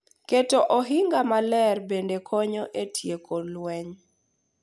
Keto ohinga maler bende konyo e tieko lweny